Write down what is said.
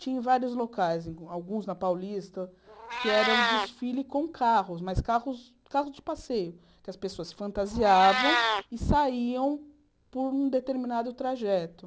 Tinha em vários locais, alguns na Paulista, que era o desfile com carros, mas carros carros de passeio, que as pessoas fantasiavam e saíam por um determinado trajeto.